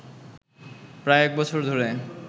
প্রায় এক বছর ধরে